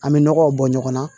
An bɛ nɔgɔw bɔ ɲɔgɔn na